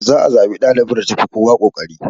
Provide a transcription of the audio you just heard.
Za a zaɓi ɗalibar da tafi kowa kokari.